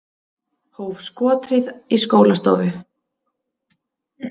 Hóf skothríð í skólastofu